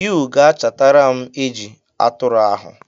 You ga-achatara m eji atụrụ ahụ.